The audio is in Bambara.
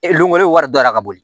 E lu wari donna ka bɔ